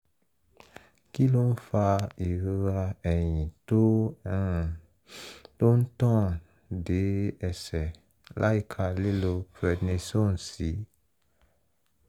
kí ló ń fa ìrora ẹ̀yìn tó um ń tàn dé ẹsẹ̀ láìka lílo prednisone sí?